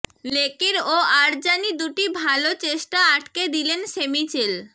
Leckie ও Arzani দুটি ভাল চেষ্টা আটকে দিলেন শেমিচেল